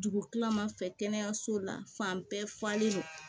Dugu kila ma fɛ kɛnɛyaso la fan bɛɛ falen don